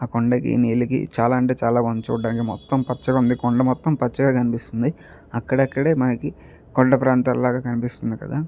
కొండకి నీళ్లకి చాలా అంటే చాలా బాగుంది చూడడానికి మొత్తం పచ్చగా ఉంది కొండ మొత్తం పచ్చగా కనిపిస్తుంది అక్కడక్కడే మనకి కొండ ప్రాంతాలు లాగా కనిపిస్తుంది కదా.